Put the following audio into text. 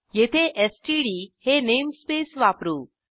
येथे एसटीडी हे नेमस्पेस वापरू